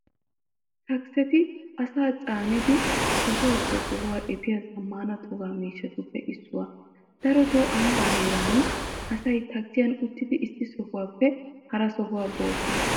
Takiseti asaa caanidi sohuwaappe sohuwaa efiya zammaana toga miishshatuppe issuwaa. Daroto ambbaa heeraa asay takisiyan uttidi issi sohuwaappe hara sohuwaa boosona.